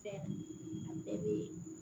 Fɛn a bɛɛ bɛ